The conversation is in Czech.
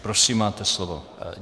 Prosím, máte slovo.